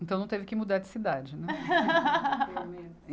Então não teve que mudar de cidade, né?